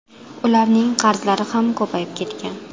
Ularning qarzlari ham ko‘payib ketgan.